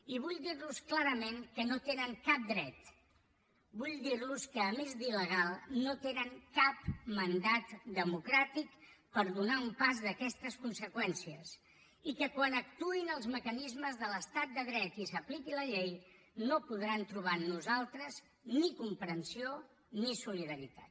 i vull dir los clarament que no hi tenen cap dret vull dir los que a més d’il·legal no tenen cap mandat democràtic per donar un pas d’aquestes conseqüències i que quan actuïn els mecanismes de l’estat de dret i s’apliqui la llei no podran trobar en nosaltres ni comprensió ni solidaritat